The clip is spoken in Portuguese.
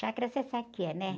Chácara você sabe o que é, né?